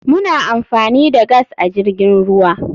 Muna amfani da gas a jirgin ruwa.